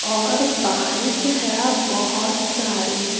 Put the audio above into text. और बाइक है बहुत सारे।